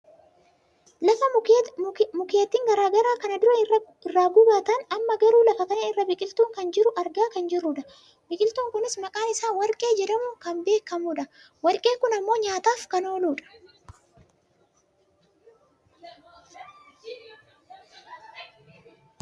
lafa mukeetiin gara garaa kana dura irraa gubatan amma garuu lafa kana irra biqiltuun kan jiru argaa kan jirrudha. biqiltuun kunis maqaan isaa warqee jedhamuun kan beekkamudha . warqeen kun ammoo nyaataaf kan ooludha.